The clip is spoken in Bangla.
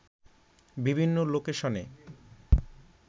বিভিন্ন লোকেশনে